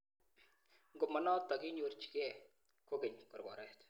Ngomanotok kinyorjigei kokeny korkoret.